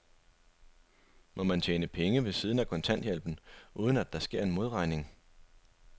Må man tjene penge ved siden af kontanthjælpen, uden at der sker en modregning?